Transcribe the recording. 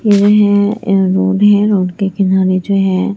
ये रोड है रोड के किनारे जो है।